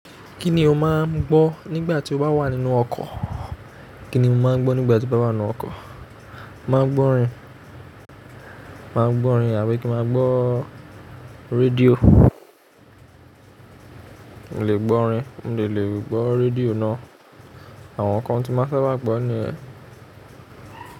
Kíni o máa ń gbọ́ nígbà tí o bá wà nínú ọkọ̀? Kíni mo máa ń gbọ́ nígbà tí mo bá wà nínú ọkọ̀? Mà á gbọ́ orin, mà á gbọ́ orin àbí kí mà á gbọ́ rédíò. Mo lè gbọ́ orin, mo dẹ̀ lè gbọ́ rédíò náà. Àwọn nǹkan tí máa sábà gbọ́ ni yẹn.